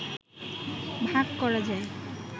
ভাগ করা যায়।